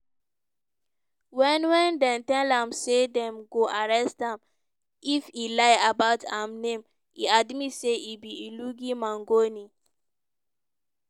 wen wen dem tell am say dem go arrest am if e lie about im name e admit say e be luigi mangione.